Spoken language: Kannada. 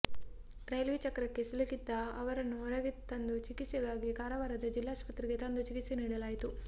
ರೈಲ್ವೆ ಚಕ್ರಕ್ಕೆ ಸಿಲುಕಿದ್ದ ಅವರನ್ನು ಹೊರಗೆ ತಂದು ಚಿಕಿತ್ಸೆಗಾಗಿ ಕಾರವಾರದ ಜಿಲ್ಲಾಸ್ಪತ್ರೆಗೆ ತಂದು ಚಿಕಿತ್ಸೆ ನೀಡಲಾಯಿತು